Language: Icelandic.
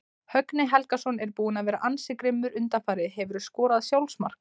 Högni Helgason er búinn að vera ansi grimmur undanfarið Hefurðu skorað sjálfsmark?